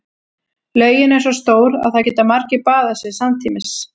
Laugin er svo stór að þar geta margir baðað sig samtímis.